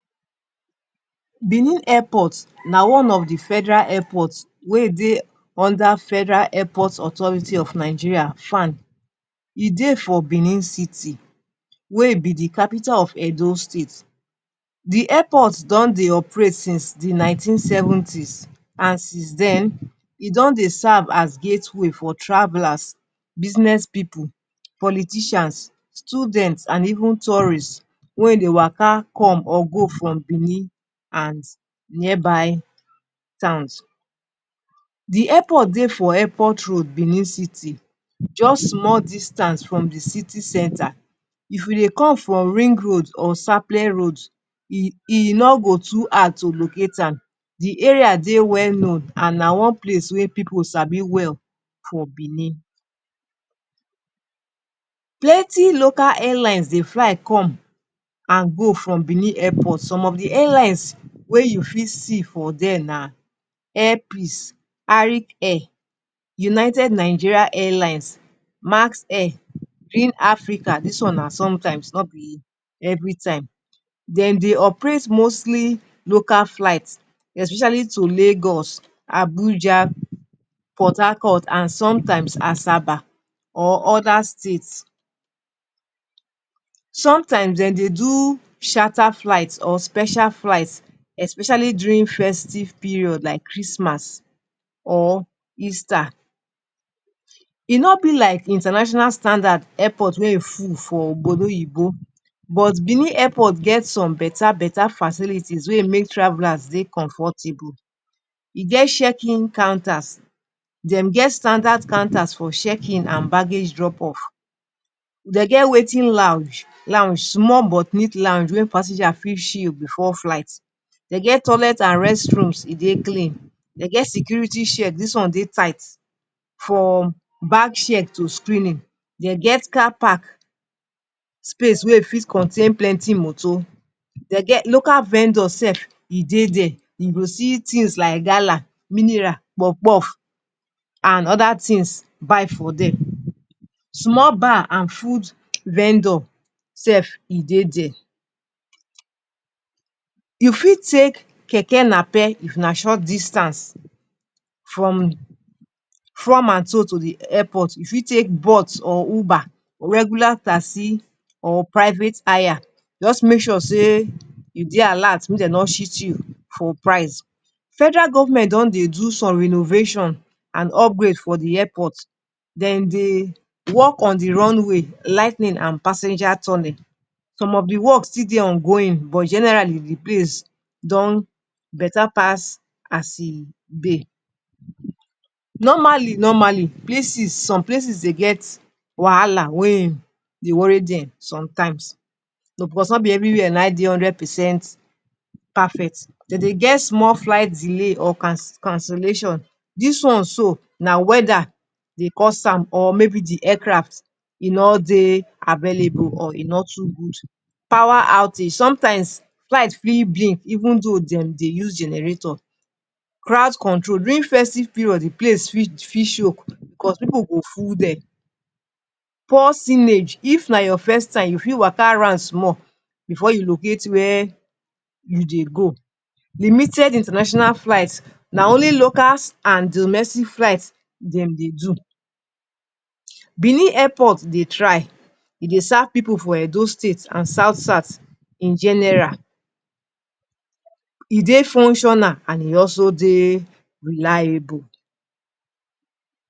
Benin Airport - Nigerian Pidgin Benin airport, na one of the federal airports wey dey under federal airport authority of Nigeria [FAAN]. E dey for Benin city. Wey be the capital of Edo state. The airport don dey operate since the nineteenth seventies and since den e don dey serve as gateways for travelers, business pipu, politicians, student and even tourist wey dey waka come or go from Benin and nearby towns. The airport dey for airport road Benin city just small distance from the city center. If you dey come from ring road or sapele road e no go too hard to locate am. The area dey well known and na one place wey people sabi well for Benin. Plenty local airlines dey fly come and go from Benin airport. Some of the airlines wey you fit see for there na Air peace, Arik air, united Nigeria airline, Max air, Green Africa dis one na sometimes no be everytime. Dem dey operate mostly local flights. Especially to Lagos, Abuja, Portharcourt and sometimes Asaba or other state. Sometimes, dey dey do chartered flight or special flight. Especially during festive period like Christmas or easter. E no be like international standard wey e full for but Benin airport get some better better facilities wey e make travelers dey comfortable. E get check in counters, dem get standard counters for checkins and baggage drop off. Dey get waiting lounge, small but mid lounge wey passenger fit chill before flight. Dey get toilet and restrooms e dey clean. Dey get security checks dis one dey tight, from bag check to screening. Dey get car park. Space wey fit contain plenty moto. Dey get, local vendors sef, e dey there. You go see things like, gala, mineral, puff puff and other things buy for there. Small bar and food vendor dey there. You fit take keke napep na short distance. Fro and to to the airport. You fit take bolt or uber, you fit takr regular taxi or private hire. Just make sure say you dey alert make dem no cheat you for price. Federal government don dey do some renovations and upgrade for the airport. Dem dey work on the runaway, ligh ten ing and passenger tunnel. Some of the work still dey ongoing but generally the place don better pass as e dey. Normally, normally places, some places dey get wahala wey dey worry dem sometimes. Because no be everywhere nayin dey hundred percent perfect. Dey dey get small flight delay or cancellation. Dis one so, na weather dey cause am of maybe the aircraft be no dey available or e no too good. Power outage. Sometimes, flight fit delay even though, dey dey use generator. Crowd control. During festive period the place fit choke because people go full there. Poor signage. If na your first time you fit waka around small before you locate where you dey go. Limites international flight. Only local snd domestic flight dem dey do. Benin airport dey try. E dey serve pipu for Edo state and South south general. E dey functional and e also dey reliable.